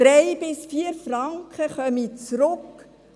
drei bis vier Franken kämen an Steuern zurück.